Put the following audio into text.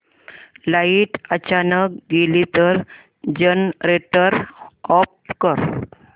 light अचानक गेली तर जनरेटर ऑफ कर